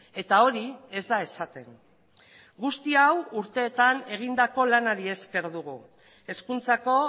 eta hori ez da esaten guzti hau urteetan egindako lanari esker dugu hezkuntzako